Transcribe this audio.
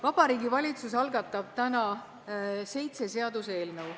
Vabariigi Valitsus algatab täna seitse seaduseelnõu.